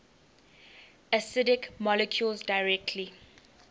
acidic molecules directly